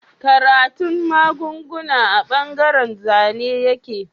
Karatun magunguna a bangaren Zane yake